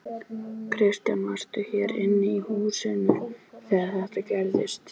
Kristján: Varstu hér inni í húsinu þegar þetta gerðist?